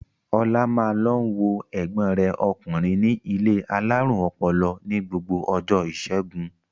Ọlá máa ń lọ wo ẹ̀gbọ́n rẹ̀ ọkùnrin ní ilé alárùn ọpọlọ ní gbogbo ọjọ́ ìṣẹ́gun.